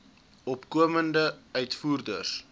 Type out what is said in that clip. opkomende uitvoerders